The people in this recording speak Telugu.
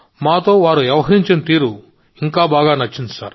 మాతో వారు వ్యవహరించిన తీరు కూడా చాలా బాగుంది